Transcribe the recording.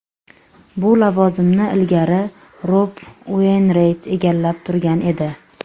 Bu lavozimni ilgari Rob Ueynrayt egallab turgan edi.